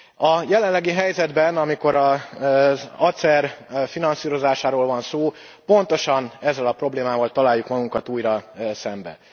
A jelenlegi helyzetben, amikor az ACER finanszírozásáról van szó, pontosan ezzel a problémával találjuk magunkat újra szemben.